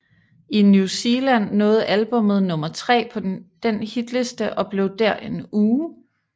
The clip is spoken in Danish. I New Zealand nåede albummet nummer tre på den hitliste og blev der i en uge